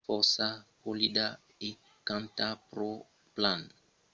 "es fòrça polida e canta pro plan tanben, diguèt segon la transcripcion de la conferéncia de premsa